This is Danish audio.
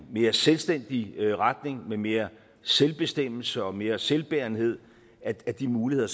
mere selvstændig retning med mere selvbestemmelse og mere selvbærenhed at de muligheder